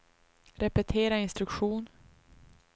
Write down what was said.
repetera instruktion